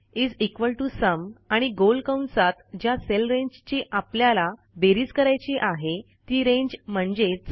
is equal to sum आणि गोल कंसात ज्या सेल रेंजची आपल्याला बेरीज करायची आहे ती रेंज म्हणजेच